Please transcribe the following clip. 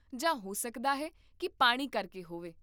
ਜਾਂ ਹੋ ਸਕਦਾ ਹੈ ਕੀ ਪਾਣੀ ਕਰਕੇ ਹੋਵੇ?